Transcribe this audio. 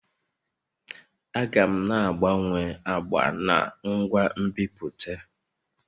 Aga m na-agbanwe agba n' ngwa nbipute